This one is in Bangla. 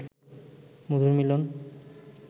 মধুর মিলন